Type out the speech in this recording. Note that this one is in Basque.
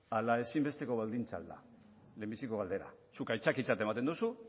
ala ezinbesteko baldintza al da lehenbiziko galdera zuk aitzakitzat ematen dozu